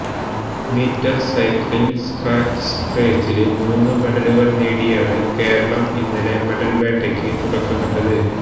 metre cycling scratch റേസില് മൂന്ന് മെഡലുകള് നേടിയാണ് കേരളം ഇന്നലെ മെഡല് വേട്ടക്ക് തുടക്കമിട്ടത്